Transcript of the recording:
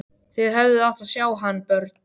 Þið hefðuð átt að sjá hann, börn!